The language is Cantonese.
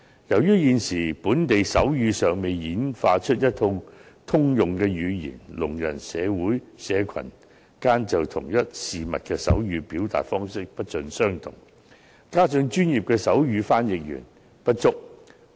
由於現時本地尚未演化出一套通用的手語，聾人社群間就同一事物的手語表達方式不盡相同；此外，專業的手語傳譯員亦不足夠。